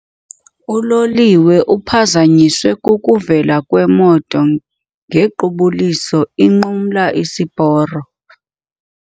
Uloliwe uphazanyiswe kukuvela kwemoto ngequbuliso inqumla isiporo.